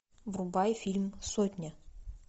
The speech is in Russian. врубай фильм сотня